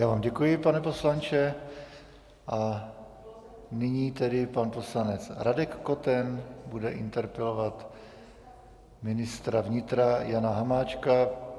Já vám děkuji, pane poslanče, a nyní tedy pan poslanec Radek Koten bude interpelovat ministra vnitra Jana Hamáčka.